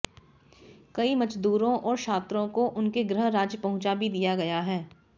कई मजदूरों और छात्रों को उनके गृह राज्य पहुंचा भी दिया गया है